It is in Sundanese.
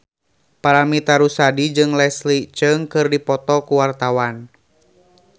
Paramitha Rusady jeung Leslie Cheung keur dipoto ku wartawan